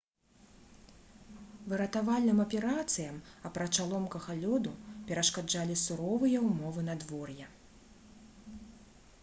выратавальным аперацыям апрача ломкага лёду перашкаджалі суровыя ўмовы надвор'я